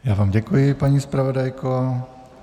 Já vám děkuji, paní zpravodajko.